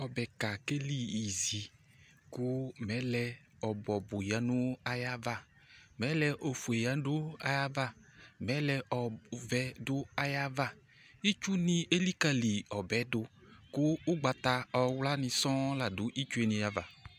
Ɔbɛka kelizi kʋ mɛlɛ ɔbʋ ɔbʋ yǝ nʋ ayava Mɛlɛ ofue yǝ nʋ ayava Mɛlɛ ɔvɛ dʋ ayava Itsunɩ elikǝli ɔbɛ yɛ dʋ kʋ ʋgbata ɔwlanɩ sɔ̃ la dʋ itsu yɛ nɩ ava